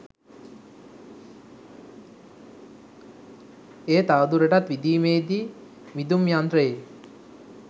එය තවදුරටත් විදීමේදී විදුම්යන්ත්‍රයේ